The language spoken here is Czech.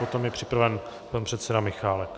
Potom je připraven pan předseda Michálek.